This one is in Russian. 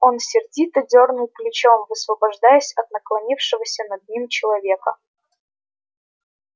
он сердито дёрнул плечом высвобождаясь от наклонившегося над ним человека